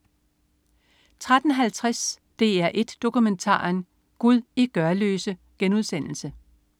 13.50 DR1 Dokumentaren. Gud i Gørløse*